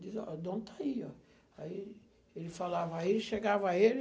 Dizia, ó, o dono está aí, ó. Aí ele falava a ele, chegava ele.